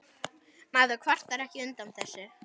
Maður kvartar ekki undan þessu.